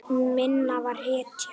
Minna var hetja.